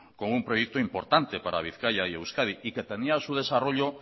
con un proyecto importante para bizkaia y euskadi y que tenía su desarrollo